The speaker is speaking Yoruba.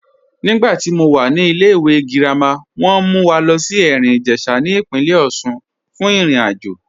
Nígbàtí mó wà ní ìlẹ̀-ìwé girama, wọn mú wà lọ sí Erin-Ijesha ní ipìnlẹ̀ Òṣun fún ìrìn-àjọ